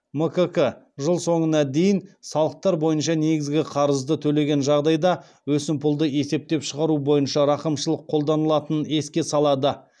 мкк жыл соңына дейін салықтар бойынша негізгі қарызды төлеген жағдайда өсімпұлды есептен шығару бойынша рақымшылық қолданылатынын еске салады